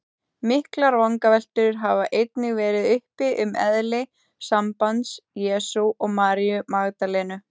Miklar vangaveltur hafa einnig verið uppi um eðli sambands Jesú og Maríu Magdalenu.